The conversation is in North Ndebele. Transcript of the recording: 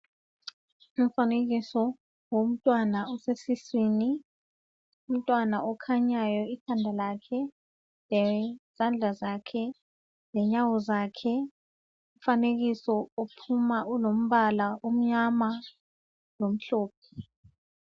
Umfanekiso womntwana osesiswini, umntwana okhanyayo ikhanda lakhe, lezandla zakhe lenyawo zakhe. Umfanekiso ophuma ulompala omnyama lomhlophe.